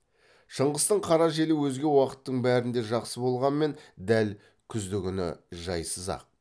шыңғыстың қара желі өзге уақыттың бәрінде жақсы болғанмен дәл күздігүні жайсыз ақ